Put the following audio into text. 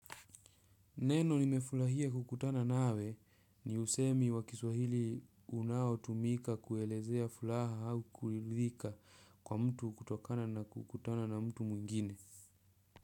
Neno nimefurahia kukutana nawe ni usemi wa kiswahili unaotumika kuelezea furaha au kuridhika kwa mtu kutokana na kukutana na mtu mwingine.